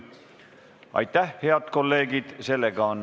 Aitäh, head kolleegid!